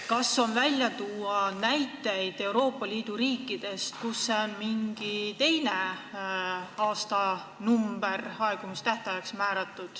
Kas sul on tuua näiteid Euroopa Liidu riikidest, kus on aegumistähtajaks määratud mingi teine number?